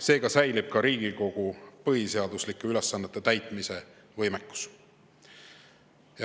Seega säilib ka Riigikogu põhiseaduslike ülesannete täitmise võimekus.